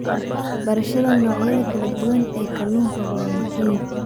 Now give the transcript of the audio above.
Barashada noocyada kala duwan ee kalluunka waa muhiim.